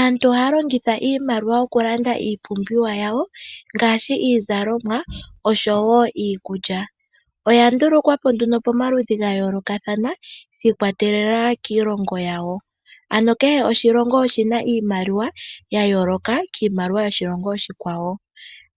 Aantu ohaya longitha iimaliwa oku landa iipumbiwa yawo ngaashi iizalomwa osho woo iikulya. Oya ndulukwa po nduno pamaludhi ga yoolokathana shi ikwa telela kiilongo yawo. Ano kehe oshilongo oshina iimaliwa ya yooloka kiimaliwa yoshilongo oshikwawo,